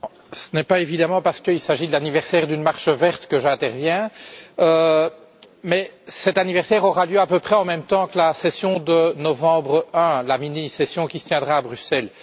Monsieur le Président, ce n'est évidemment pas parce qu'il s'agit de l'anniversaire d'une marche verte que j'interviens. Mais cet anniversaire aura lieu à peu près en même temps que la session de novembre I, la mini session qui se tiendra à Bruxelles.